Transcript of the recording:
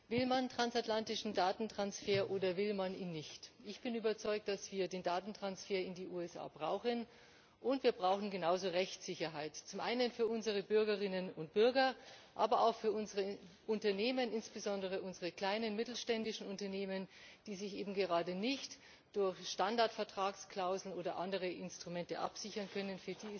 Will man transatlantischen Datentransfer oder will man ihn nicht? Ich bin überzeugt davon, dass wir den Datentransfer in die USA brauchen, und wir brauchen genauso Rechtssicherheit, zum einen für unsere Bürgerinnen und Bürger, aber auch für unsere Unternehmen, insbesondere unsere kleinen mittelständischen Unternehmen, die sich eben gerade nicht durch Standardvertragsklauseln oder andere Instrumente absichern können.